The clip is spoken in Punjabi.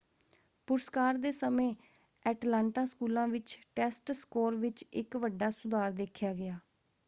ਪੁਰਸਕਾਰ ਦੇ ਸਮੇਂ ਐਟਲਾਂਟਾ ਸਕੂਲਾਂ ਵਿੱਚ ਟੈਸਟ ਸਕੋਰ ਵਿੱਚ ਇੱਕ ਵੱਡਾ ਸੁਧਾਰ ਦੇਖਿਆ ਗਿਆ।